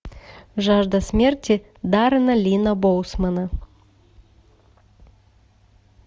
жажда смерти даррена линна боусмана